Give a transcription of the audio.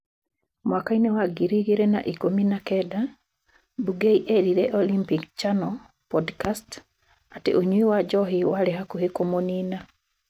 Mwaka-inĩ wa ngiri igĩrĩ na ĩkũmi na kenda, Bungei eerire Olympic Channel podcast atĩ ũnyui wa njohi warĩ hakuhĩ kũmũnina.